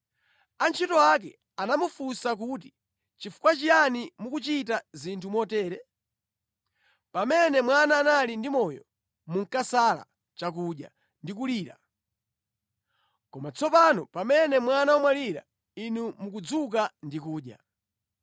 Antchito ake anamufunsa kuti, “Chifukwa chiyani mukuchita zinthu motere? Pamene mwana anali ndi moyo, munkasala chakudya ndi kulira, koma tsopano pamene mwana wamwalira inu mukudzuka ndi kudya!”